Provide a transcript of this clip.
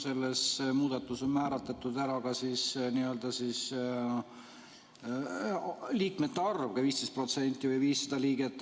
Selles muudatuses on määratletud ära ka n‑ö liikmete arv, 15% või 500 liiget.